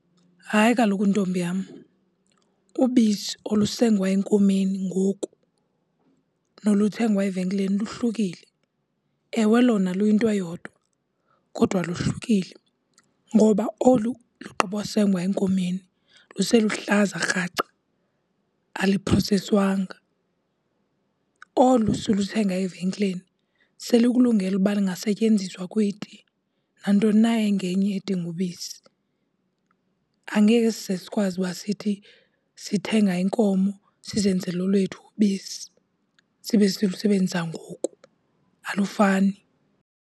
Hayi kaloku, ntombi yam, ubisi olusengwe enkomeni ngoku noluthengwe evenkileni luhlukile. Ewe lona luyinto eyodwa kodwa luhlukile ngoba olu lugqibo sengwa enkomeni, luseluhlaza kraca aluproseswanga. Olu siluthenga evenkileni selikulungele ukuba lungasetyenziswa kwiti nantoni na engenye edinga ubisi. Angeke size sikwazi uba sithi sithenga inkomo sizenzele olwethu ubisi sibe silusebenzisa ngoku, alufani.